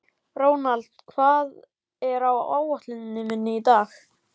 Ronald, hvað er á áætluninni minni í dag?